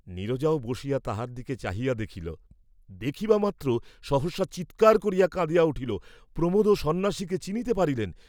নীরজাও বসিয়া তাহার দিকে চাহিয়া দেখিল, দেখিবামাত্র সহসা চীৎকার করিয়া কাঁদিয়া উঠিল, প্রমোদও সন্ন্যাসীকে চিনিতে পারিলেন।